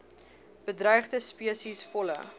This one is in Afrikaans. bedreigde spesies volle